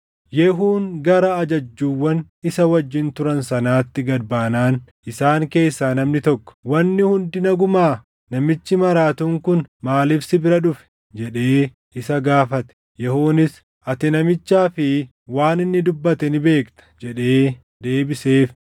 Yehuun gara ajajjuuwwan isa wajjin turan sanaatti gad baanaan isaan keessaa namni tokko, “Wanni hundi nagumaa? Namichi maraatuun kun maaliif si bira dhufe?” jedhee isa gaafate. Yehuunis, “Ati namichaa fi waan inni dubbate ni beekta” jedhee deebiseef.